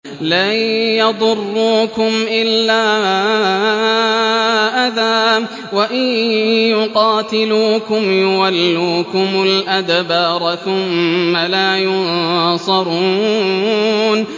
لَن يَضُرُّوكُمْ إِلَّا أَذًى ۖ وَإِن يُقَاتِلُوكُمْ يُوَلُّوكُمُ الْأَدْبَارَ ثُمَّ لَا يُنصَرُونَ